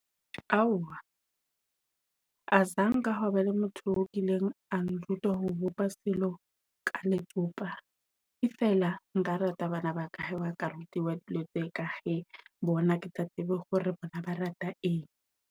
Aowa azange ha ba le motho o kileng a nruta ho bopa selo ka letsopa. E fela nka rata bana ba ka ha ba ka rutiwa dilo tse ka bona. Ke tla tseba hore bona ba rata eng.